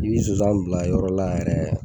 Ni nsonsan bila yɔrɔ la yɛrɛ